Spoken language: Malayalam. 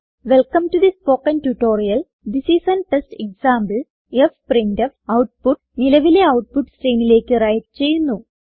welcome to the spoken tutorial this is an test example fprintf output നിലവിലെ ഔട്ട്പുട്ട് സ്ട്രീമിലേക്ക് വ്രൈറ്റ് ചെയ്യുന്നു